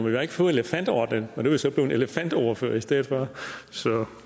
jeg har ikke fået elefantordenen og nu er jeg så blevet elefantordfører i stedet for så